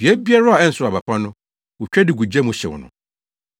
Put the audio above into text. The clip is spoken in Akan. Dua biara a ɛnsow aba pa no, wotwa de gu gya mu hyew no.